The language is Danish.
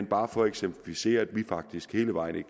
bare for at eksemplificere at vi faktisk hele vejen er